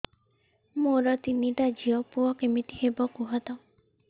ମୋର ତିନିଟା ଝିଅ ପୁଅ କେମିତି ହବ କୁହତ